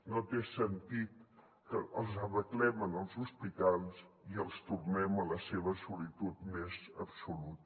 no té sentit que els arreglem en els hospitals i els tornem a la seva solitud més absoluta